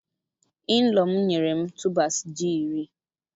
Inlaw m nyere m tubers ji iri.